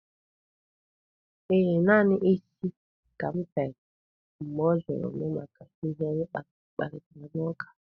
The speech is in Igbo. Ee, naanị isi ka m fere mgbe ọ jụrụ m maka ihe anyị kparịtara n'ụka.